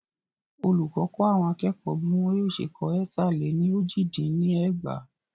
Olùkọ kọ́ àwọn akẹ́kọ̀ọ́ bí wọn yóò ṣe kọ étà lẹ ní ójì dín ní ẹgbàá.